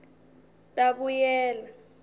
tabuyela